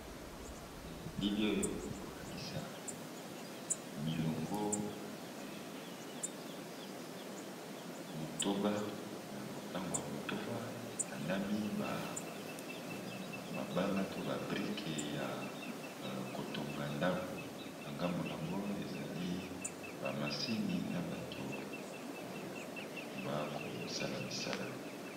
Elili oyo eko lakisa milongo ya motango ya motoba etandami, mabanga to ba brique ya ko tonga ndaku . Na ngambo n'ango, ezali ba machine na batu bako sala misala .